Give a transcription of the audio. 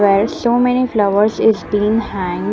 Where so many flowers is been hang--